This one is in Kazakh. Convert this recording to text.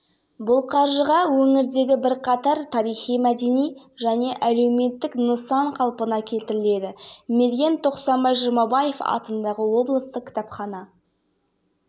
жатырмыз жер-жерлерде аудандарда облыс орталығында халық шығармашылығы орталығының жанына талант жас ақындар клубын ашып ол